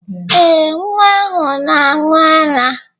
Ee, nwa ahụ na-aṅụ ara.